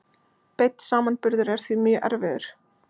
Beinn samanburður er því mjög erfiður.